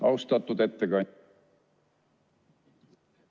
Austatud ettekandja!